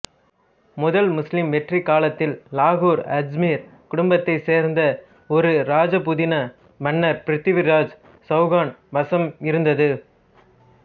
முதல் முஸ்லிம் வெற்றி காலத்தில் இலாகூர் அஜ்மீர் குடும்பத்தைச் சேர்ந்த ஒரு ராஜபுதன மன்னர் பிருத்விராஜ் சௌகான் வசம் இருந்தது